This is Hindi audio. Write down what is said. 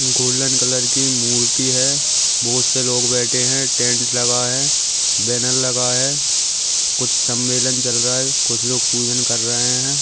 गोल्डन कलर की मूर्ति है बहोत से लोग बैठे है टेंट लगा है बैनर लगा है कुछ सम्मेलन चल रहा है कुछ लोग पूजन कर रहे है।